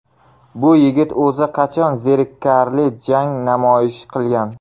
Bu yigit o‘zi qachon zerikarli jang namoyish qilgan?